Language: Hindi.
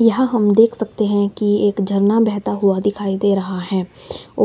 यहां हम देख सकते हैं कि एक झरना बहता हुआ दिखाई दे रहा है